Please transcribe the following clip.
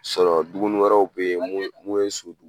Sɔrɔ duguni wɛrɛw be ye mun ye mun ye so